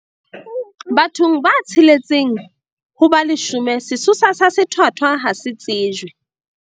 Bathong ba tsheletseng ho ba leshome sesosa sa sethwathwa ha se tsejwe.